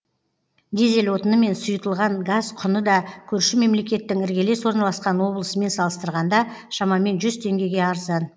дизель отыны мен сұйытылған газ құны да көрші мемлекеттің іргелес орналасқан облысымен салыстырғанда шамамен жүз теңгеге арзан